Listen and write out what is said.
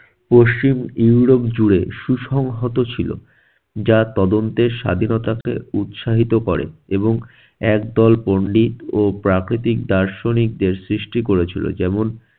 পশ্চিম Europe জুড়ে সুসংহত ছিল যা তদন্তের স্বাধীনতাকে উৎসাহিত করে এবং একদল পন্ডিত ও প্রাকৃতিক দার্শনিকদের সৃষ্টি করেছিল। যেমন-